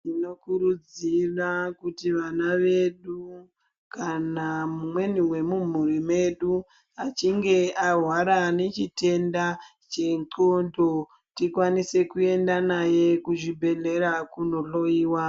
Tinokurudzira kuti vana vedu kana mumweni wemumhuri medu ,achinge ahwara nechitenda chenxondo ,tikwanise kuenda naye kuzvibhedhlera kundohloyiwa.